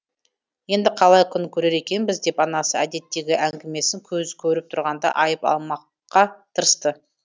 енді қалай күн көрер екенбіз деп анасы әдеттегі әңгімесін көз көріп тұрғанда айып алмаққа тырысты